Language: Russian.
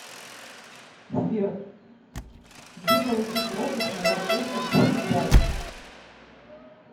сбер где получить пропуск на парковку в лесных далях